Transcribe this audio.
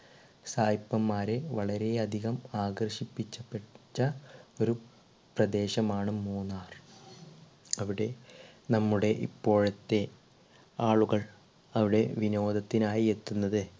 സായിപ്പൻ മാരെ വളരെ അധികം ആകർഷിപ്പി പിച്ച ഒരു പ്രദേശം ആണ് മൂന്നാർ അവിടെ നമ്മുടെ ഇപ്പോഴത്തെ ആളുകൾ അവിടെ വിനോദത്തിനായി എത്തുന്നത്